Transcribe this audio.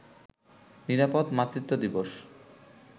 নিরাপদ মাতৃত্ব দিবস